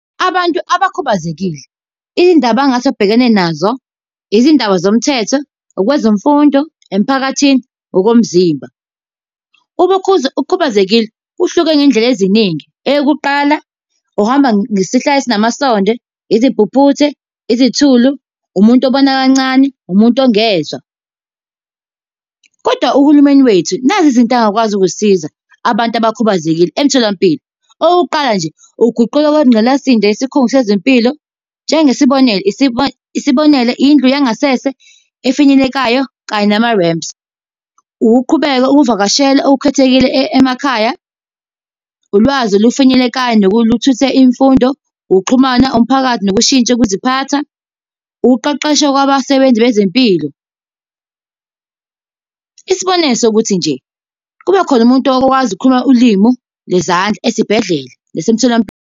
Abantu abakhubazekile, iy'ndaba engase abhekane nazo, izindaba zomthetho, ukwezemfundo, emphakathini, okomzimba. Uma ukhubazekile kuhluke ngey'ndlela eziningi. Eyokuqala uhamba ngisihlalo esinamasonde, izimpuphuthe, izithulu, umuntu obona kancane, umuntu ongezwa. Kodwa uhulumeni wethu, nazi izinto angakwazi ukuzisiza, abantu abakhubazekile emtholampilo. Okokuqala nje, ukuguqula kwengqalasizinda yesikhungo sezempilo, njengesibonelo, isibonelo, indlu yangasese efinyelelekayo kanye nama-ramps. Ukuqhubeka ukuvakashela okukhethekile emakhaya. Ulwazi olufinyelekayo nokuthutha imfundo. Ukuxhumana umphakathi nokushintsha ukuziphatha. Ukuqeqeshwa kwabasebenzi bezempilo. Isibonelo sokuthi nje, kube khona umuntu okwazi ukukhuluma ulimu lwezandla, esibhedlela nasemtholampilo.